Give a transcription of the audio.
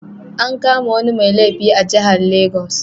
An kama wani mai laifi a jihar legas.